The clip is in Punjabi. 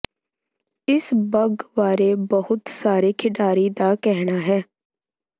ਇਸ ਬੱਗ ਬਾਰੇ ਬਹੁਤ ਸਾਰੇ ਖਿਡਾਰੀ ਦਾ ਕਹਿਣਾ ਹੈ